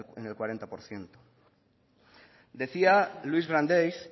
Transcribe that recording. está en el cuarenta por ciento decía louis brandeis